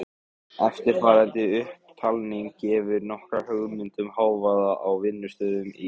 Eftirfarandi upptalning gefur nokkra hugmynd um hávaða á vinnustöðum í